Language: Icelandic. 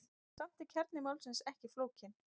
Samt er kjarni máls ekki flókinn.